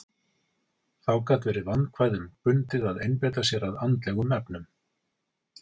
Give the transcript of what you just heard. Þá gat verið vandkvæðum bundið að einbeita sér að andlegum efnum.